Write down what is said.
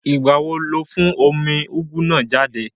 Ìgbà wo ló fún omi úgú náà jáde?